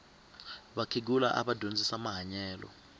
vakhegula ava dyondzisa mahanyelo